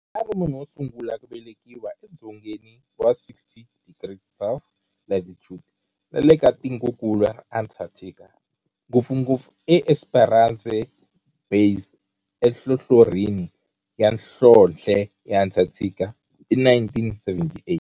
A ri munhu wo sungula ku velekiwa e dzongeni wa 60 degrees south latitude nale ka tikonkulu ra Antarctic, ngopfungopfu eEsperanza Base enhlohlorhini ya nhlonhle ya Antarctic hi 1978.